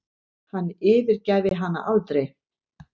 Hann yfirgæfi hana aldrei.